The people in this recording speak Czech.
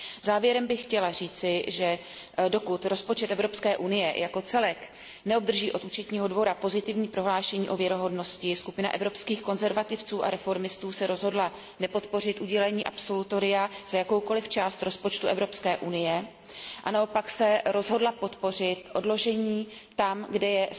Závěrem bych chtěla říci, že dokud rozpočet Evropské unie jako celek neobdrží od Účetního dvora pozitivní prohlášení o věrohodnosti, skupina Evropských konzervativců a reformistů se rozhodla nepodpořit udělení absolutoria, pokud jde o jakoukoliv část rozpočtu Evropské unie, a naopak se rozhodla podpořit odložení v těch případech, kdy je